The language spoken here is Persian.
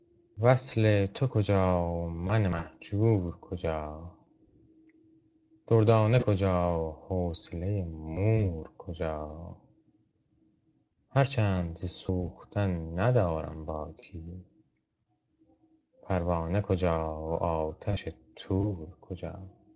وصل تو کجا و من مهجور کجا دردانه کجا حوصله مور کجا هرچند ز سوختن ندارم باکی پروانه کجا و آتش طور کجا